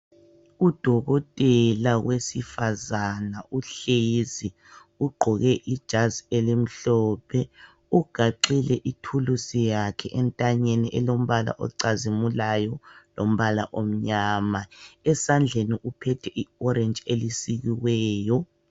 U Dokotela wesifazana uhlezi, Ugqoke ijazi elimhlophe, ugaxe ithulusi yakhe entanyeni elombala ocazimulayo, lombala omnyama, esandleni uphethe i orenji elisikiweyo.